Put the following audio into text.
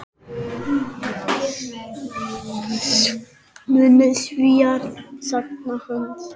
Munu Svíar sakna hans?